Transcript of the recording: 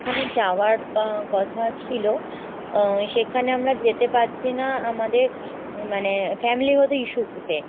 যাওয়ার কথা ছিল আ সেখানে আমরা যেতে পারছিনা আমাদের মানে family গত issue তে।